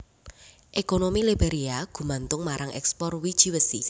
Ekonomi Liberia gumantung marang ekspor wiji wesi